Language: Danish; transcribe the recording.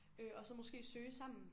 Øh og så måske søge sammen